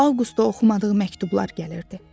Avqusta oxumadığı məktublar gəlirdi.